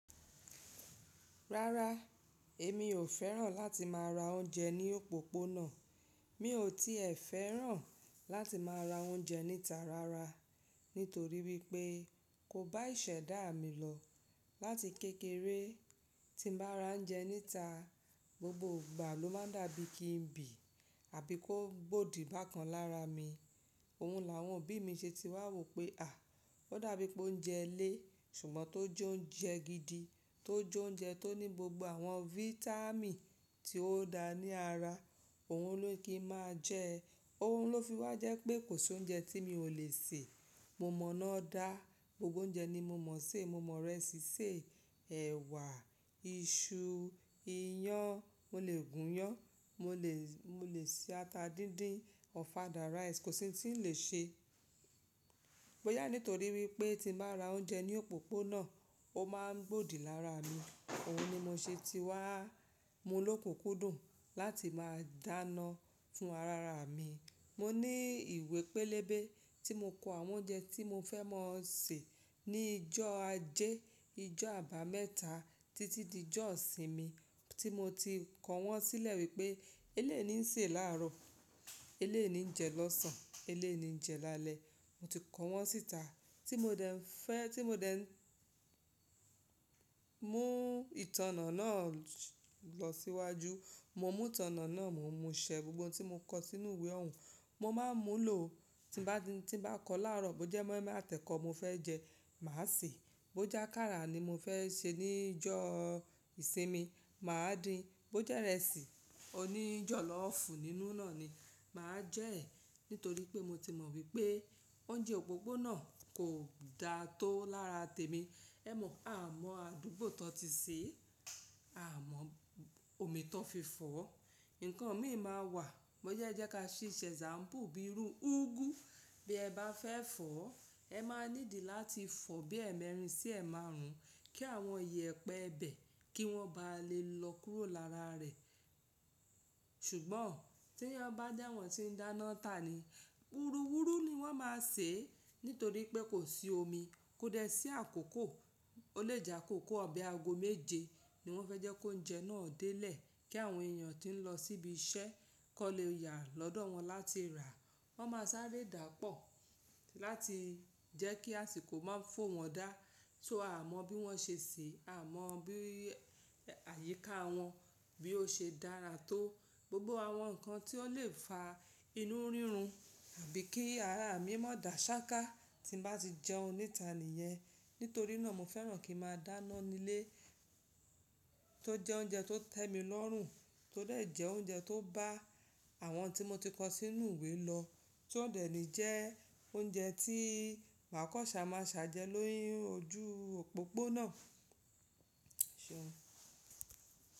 Rárá, èmi ò fẹ́ràn láti máa ra oúnjẹ ní òpópónà. Mi ò tíì fẹ́ràn láti máa ra oúnjẹ níta rárá nítorí wípé kò bá ìṣẹ̀dá mi lọ láti kékeré tí mo bá ra oúnjẹ níta, gbogbo ìgbà ló máa ń dàbí kí n bì àbí kó gbòdì bákan lára mi. Òun làwọn òbí mi ṣe ti wá wò pé à, ó dàbí pé ó ń jẹ́ ilé ṣùgbọ́n tó jó ń jẹ́ gidi, tó jó ń jẹ́ tó ní gbogbo àwọn vitamin tí ó da ní ara, òun ló ye kí máa jẹ. Òun ló fi wá jẹ́ pé kò sí oúnjẹ tí mi ò lè sè, mo mọ̀nọ́ dá gbogbo oúnjẹ ni mo mọ̀ se mo mọ ìrẹsì sè, ẹ̀wà, iṣu, iyán, mo lè gùn iyán, mo lè, mo lè ṣe ata díndín, ofada rice, kò sí ohun tí mi o lè ṣe. Bóyá nítorí wípé tí mo bá ra oúnjẹ ní òpópónà ó máa ń gbòdì lára mi. Òun ni mo ṣe ti wá mú lókunkundùn láti máa dáná fún ara mi. Mo ní ìwé pélébé tí mo kọ àwọn oúnjẹ tí mo fẹ́ máa sè ní ijó ajé, ijó àbámẹ́ta títí di ijó ìsinmi tí mo ti kọ wọ́n sílẹ̀ wípé eleyií ńi nsè láàárọ̀, eléyii ńi jẹ lọ́sàn, eléyí ńijẹ lálẹ́. Mo ti kọ wọ́n síta tí mo dẹ ń fẹ́, tí mo dẹ ń mú ìtànná náà lọ síwájú, mo mú ìtànná náà, mo mú ṣẹ gbogbo ohun tí mo kọ sínú ìwé òun. Mo máa ń mú lò tí bá, tí bá kọ láàárọ̀ bó jẹ́ moi-moi àtẹkọ mo fẹ́ jẹ, màá sèé. Bó jákàrà ni mo fẹ́ ṣe ní ijó ìsinmi, màá din. Bó jẹ́ ìrẹsì, òní ijọ̀lọ́fù nínú náà ni, màá jẹ́ ẹ̀ nítorí pé mo ti mọ̀ wípé oúnjẹ òpópónà kò da tó lára tèmi. Ẹ̀mọ, a mọ àdúgbò tan ti sèé, a mọ omi tan fi fọ̀. Ǹkan míì máa wà, bóyá e jẹ́ ká fi se example bíi irú úgú bí ẹ bá fẹ́ fọ̀, ẹ máa ní ìdí láti fọ̀ bí ẹ mẹ́rin sí ẹ máa rún kí àwọn iyẹ̀pẹ̀ ẹ bẹ̀ kí wọ́n bá lè lọ kúrò lára rẹ̀. Ṣùgbọ́n tí ọ ba jẹ́ àwọn tí ń dáná tà ni, wúruwúru ni wọ́n máa sèé nítorí pé kò sí omi, kò dẹ sí àkókò. O le jẹ́ àkókò bi ago méje ni wọ́n fẹ́ jẹ́ kí oúnjẹ náà délé kí àwọn èèyàn tí ń lọ síbi iṣẹ́ kò lè yà lọ́dọ̀ wọn láti rà. Wọn máa sáré dáàpọ̀ láti jẹ́ kí àsìkò má fò wọ́n dá. So a mọ bí wọ́n ṣe sèé, a mọ bí àyíká wọ́n bí ó ṣe dára tó. Gbogbo àwọn ǹkan tí ó lè fa inú rírun àbí kí ara mi má dà ṣáká tí n bá ti jẹun níta nìyẹn. Nítorí náà mo fẹ́ràn kí a máa dáná nílé tó jẹ́ oúnjẹ tó tẹ́ mi lọ́rùn, tó dẹ̀ jẹ́ oúnjẹ tó bá àwọn tí mo ti kọ sínú ìwé lọ, tí ó dẹ̀ ní jẹ́ oúnjẹ tí màkọ́ṣà máa sè á jẹ́ lórí ojú òpópónà.